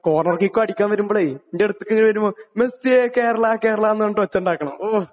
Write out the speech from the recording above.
Corner കിക്കോ അടിക്കാൻ വരുമ്പളേ..എന്റെ അടുത്തേക്ക് വരുമ്പോ മെസ്സിയെ കേരളമാ കേരളമാ എന്നുപറഞിട്ടു ഒച്ച ഉണ്ടാക്കണം.ഹോ..!